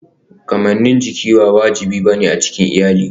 Kamannin jiki ba wajibi ba ne a cikin iyali.